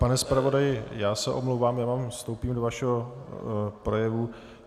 Pane zpravodaji, já se omlouvám, já vám vstoupím do vašeho projevu.